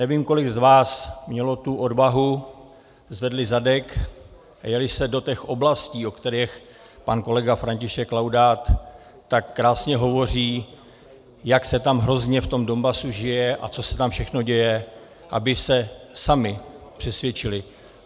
Nevím, kolik z vás mělo tu odvahu, zvedli zadek a jeli se do těch oblastí, o kterých pan kolega František Laudát tak krásně hovoří, jak se tam hrozně v tom Donbasu žije a co se tam všechno děje, aby se sami přesvědčili.